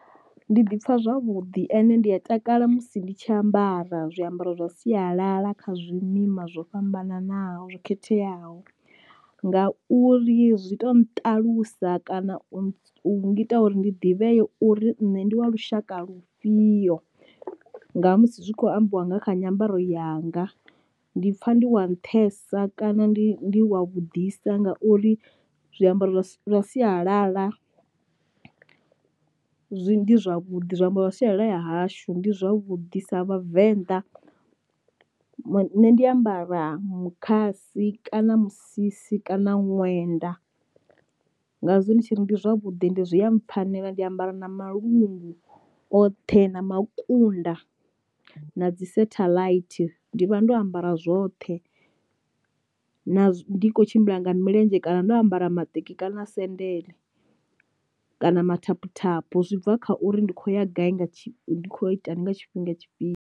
Ndi ḓi pfha zwavhuḓi ende ndi a takala musi ndi tshi ambara zwiambaro zwa sialala kha zwimima zwo fhambananaho zwo khetheaho, ngauri zwi to nṱalusa kana u ngita uri ndi ḓivheye uri nṋe ndi wa lushaka lufhio nga musi zwi khou ambiwa nga kha nyambaro yanga ndi pfha ndi wa nṱhesa kana ndi ndi wa vhudisa ngauri zwiambaro zwa sialala zwi zwavhuḓi zwiambaro zwa sialala ya hashu ndi zwavhuḓi sa vhavenḓa. Nṋe ndi ambara mukhasi kana musisi kana ṅwenda ngazwo ndi tshiri ndi zwavhuḓi ndi zwi a mpfhanela ndi ambara na malungu oṱhe na makunda na dzi sathaḽaithi, ndi vha ndo ambara zwothe na ndi kho tshimbila nga milenzhe kana ndo ambara maṱeki kana sendele kana mathaphuthaphu, zwi bva kha uri ndi khou ya gai nga tshifhinga ndi kho itani nga tshifhinga tshifhio.